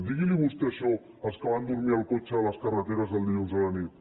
digui’ls vostè això als que van dormir al cotxe a les carreteres el dilluns a la nit